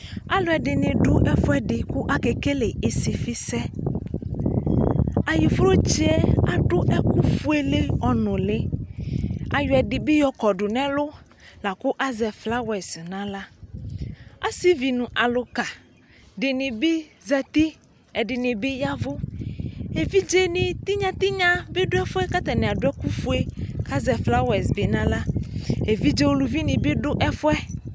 alu ɛdini du ɛfuɛdi ka ké kélé isifi sɛ ayiflodzé adu ɛku fuélé ɔnuli ayɔ ɛdi bi yɔkɔdu nɛ ɛlu laku azɛ flawɛse na axlă asivi nu aluka dini bi zɛti ɛdini bi yavu évidzé ni tinyatinya bi du ɛfuɛ ka atani adu ɛku fué ka zɛ flawɛse na xlă évidzé uluvi ni bi du ɛfuɛ